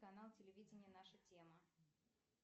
канал телевидения наша тема